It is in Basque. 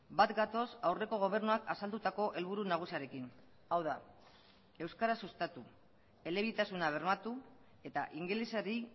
bat gatoz aurreko gobernuak azaldutako helburu nagusiarekin hau da euskara sustatu elebitasuna bermatu eta ingelesari